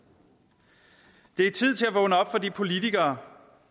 det er tid til at vågne op for de politikere